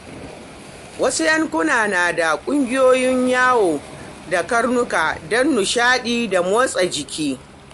Wasu yankuna na da ƙungiyoyin yawo da karnuka don nishaɗi da motsa jiki.